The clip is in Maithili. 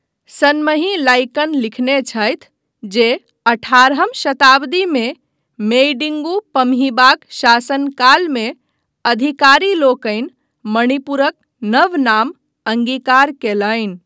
सनमही लाइकन लिखने छथि जे अठारहम शताब्दीमे मेइडिन्गु पम्हीबाक शासनकालमे अधिकारीलोकनि मणिपुरक नव नाम अङ्गीकार कयलनि।